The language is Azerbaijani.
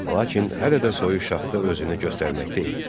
Lakin hələ də soyuq şaxta özünü göstərməkdə idi.